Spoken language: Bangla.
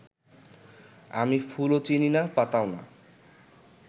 আমি ফুলও চিনি না, পাতাও না